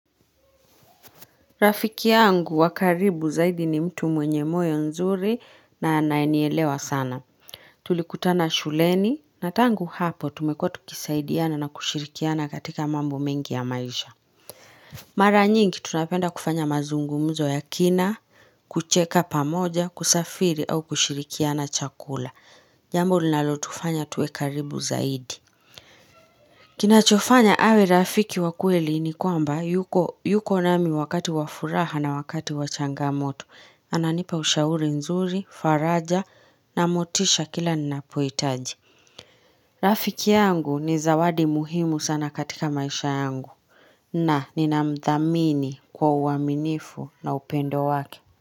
Rafiki yangu wakaribu zaidi ni mtu mwenye moyo nzuri na naenielewa sana. Tulikutana shuleni na tangu hapo tumekuwa kisaidiana na kushirikiana katika mambo mingi ya maisha. Mara nyingi tunapenda kufanya mazungumuzo ya kina, kucheka pamoja, kusafiri au kushirikiana chakula. Jambo linalotufanya tuwe karibu zaidi. Kinachofanya awe rafiki wakweli ni kwamba yuko nami wakati wafuraha na wakati wachangamoto. Ananipa ushauri nzuri, faraja na motisha kila nina poitaji. Rafiki yangu ni zawadi muhimu sana katika maisha yangu. Na, nina mdhamini kwa uaminifu na upendo waki.